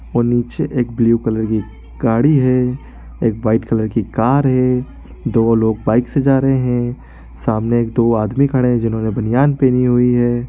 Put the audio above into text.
और नीचे एक ब्लू कलर की गाड़ी है एक वाइट कलर की कार है दो लोग बाइक से जा रहे है सामने दो आदमी खड़े हैं जिन्होंने बनियान पहनी हुई है।